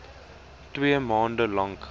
twee maande lank